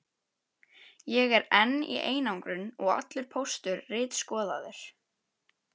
Ég er enn í einangrun og allur póstur ritskoðaður.